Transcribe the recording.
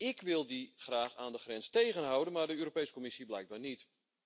Ik wil die graag aan de grens tegenhouden, maar de Europese Commissie blijkbaar niet.